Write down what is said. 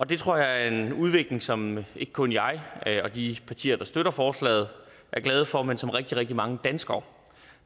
det tror jeg er en udvikling som ikke kun jeg og de partier der støtter forslaget er glade for men som rigtig rigtig mange danskere